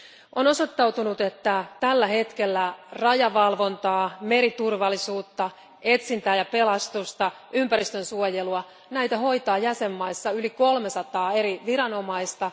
On osoittautunut, että tällä hetkellä rajavalvontaa, meriturvallisuutta, etsintää ja pelastusta ja ympäristönsuojelua hoitaa jäsenmaissa yli 300 eri viranomaista.